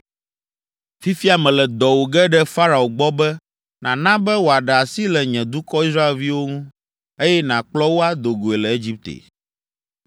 Fifia mele dɔ wò ge ɖe Farao gbɔ be nàna be wòaɖe asi le nye dukɔ Israelviwo ŋu, eye nàkplɔ wo ado goe le Egipte.”